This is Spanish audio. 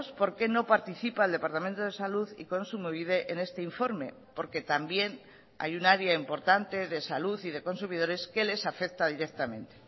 por qué no participa el departamento de salud y kontsumobide en este informe porque también hay un área importante de salud y de consumidores que les afecta directamente